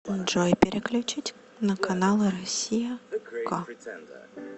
джой переключить на каналы россия к